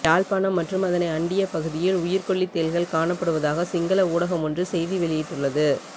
யாழ்ப்பாணம் மற்றும் அதனை அண்டிய பகுதியில் உயிர் கொல்லி தேள்கள் காணப்படுவதாக சிங்கள ஊடகமொன்று செய்தி வெளியிட்டுள்ளது